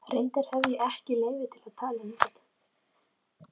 Reyndar hefi ég ekki leyfi til að tala um þetta.